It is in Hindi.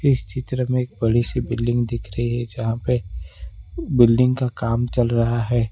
इस चित्र में एक बड़ी सी बिल्डिंग दिख रही है जहां पे बिल्डिंग का काम चल रहा है।